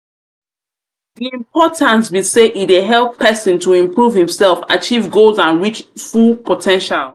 importance be say e dey help pesin to improve imself achieve goals and reach full po ten tial.